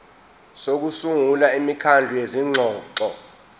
sokusungula imikhandlu yezingxoxo